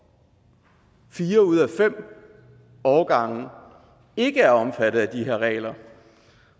fire ud af fem årgange ikke er omfattet af de her regler